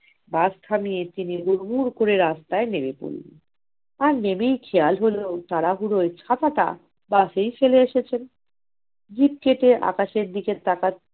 বাস থামিয়ে তিনি গুড় গুড় করে রাস্তায় নেমে পড়লেন। নেমে খেয়াল হল তাড়াহুড়োয় ছাতাটা বাসেই ফেলে এসেছেন জিভ কেটে আকাশের দিকে তাকান